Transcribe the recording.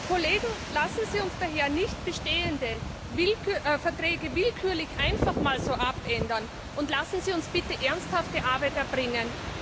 Kollegen, lassen Sie uns daher nicht bestehende Verträge willkürlich einfach mal so abändern und lassen Sie uns bitte ernsthafte Arbeit erbringen!